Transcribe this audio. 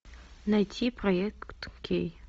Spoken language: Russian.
найти проект кей